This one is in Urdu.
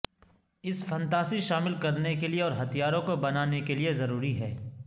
اس فنتاسی شامل کرنے کے لئے اور ہتھیاروں کو بنانے کے لئے ضروری ہے